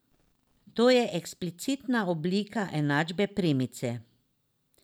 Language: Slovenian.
To je eksplicitna oblika enačbe premice.